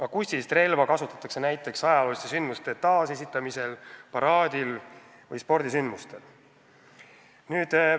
Akustilist relva kasutatakse näiteks ajalooliste sündmuste taasesitamisel, paraadil või spordisündmustel.